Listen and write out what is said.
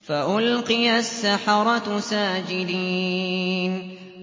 فَأُلْقِيَ السَّحَرَةُ سَاجِدِينَ